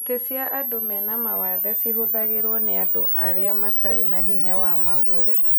Itĩ cia andũ mena mawathe cihũthagĩrwo nĩ arĩa matarĩ na hinya wa magũrũ